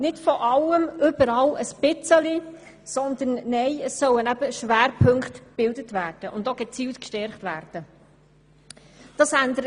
Schwerpunkte sollen gebildet und auch gezielt gestärkt werden und nicht von allem etwas.